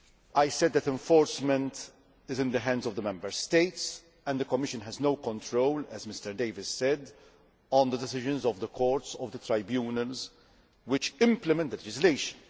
I said that enforcement is in the hands of the Member States and that the Commission has no control, as Mr Davies said, over the decisions of the courts and tribunals which implement the legislation.